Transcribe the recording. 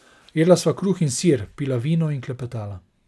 Jedla sva kruh in sir, pila vino in klepetala.